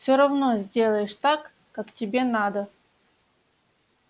всё равно сделаешь так как тебе надо